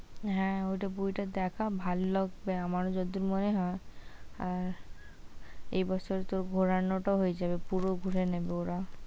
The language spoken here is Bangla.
হ্যাঁ ওটা, বইটা দেখা ভাল লাগবে আমার যতদূর মনে হয় আর এ বছরে তো ঘোরানোটা ও হয়ে যাবে, পুরো ঘুরে নেব ওরা।